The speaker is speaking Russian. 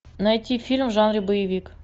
найти фильм в жанре боевик